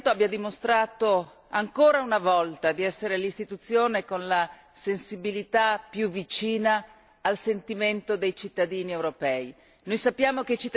Credo che il Parlamento abbia dimostrato ancora una volta di essere l'istituzione con la sensibilità più vicina al sentimento dei cittadini europei.